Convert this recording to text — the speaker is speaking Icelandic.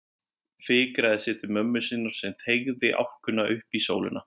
Fikraði sig til mömmu sinnar sem teygði álkuna upp í sólina.